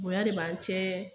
Boyan de b'an cɛɛ